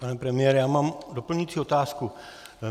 Pane premiére, já mám doplňující otázku.